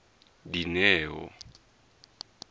dineo